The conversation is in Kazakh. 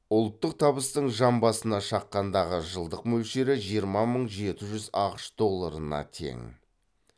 ұлттық табыстың жан басына шаққандағы жылдық мөлшері жиырма мың жеті жүз ақш долларына тең